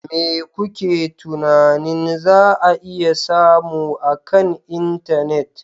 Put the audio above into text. Me kuke tunanin za a iya samu akan intanet?